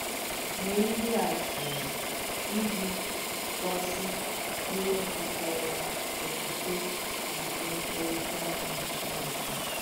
Nyè ihe àtụ̀ụ̀ iji gọ́sì ihe jìkọ̀rọ̀ ọ̀kwụ̀kwē na mèkọ̀rìtà ànyị na Chineke.